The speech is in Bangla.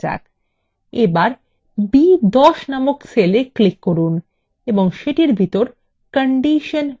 এবার b10 নামক cell এ click করুন এবং সেটির ভিতর condition result লিখুন